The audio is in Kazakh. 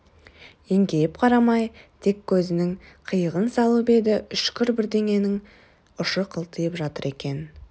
еңкейіп қарамай тек көзінің қиығын салып еді үшкір бірдеңенің ұшы қылтиып жатыр екен